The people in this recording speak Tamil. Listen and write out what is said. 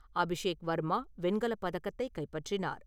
அபிஷேக் வர்மா வெண்கலப் பதக்கத்தைக் கைப்பற்றினார்.